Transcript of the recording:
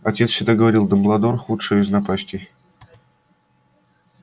отец всегда говорил дамблдор худшая из напастей